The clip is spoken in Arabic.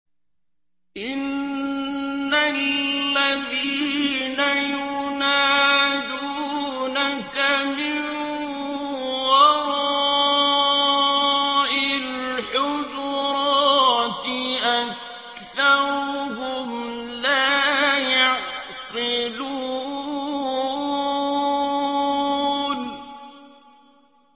إِنَّ الَّذِينَ يُنَادُونَكَ مِن وَرَاءِ الْحُجُرَاتِ أَكْثَرُهُمْ لَا يَعْقِلُونَ